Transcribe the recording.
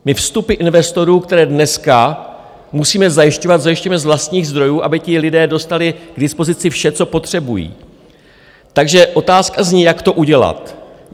My vstupy investorů, které dneska musíme zajišťovat, zajišťujeme z vlastních zdrojů, aby ti lidé dostali k dispozici vše, co potřebují, takže otázka zní, jak to udělat.